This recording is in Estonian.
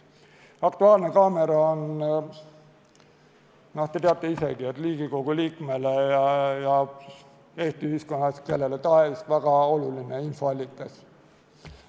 "Aktuaalne kaamera" on, te teate isegi, Riigikogu liikmele ja Eesti ühiskonnas kellele tahes väga oluline infoallikas.